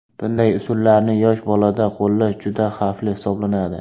Bunday usullarni yosh bolada qo‘llash juda xavfli hisoblanadi.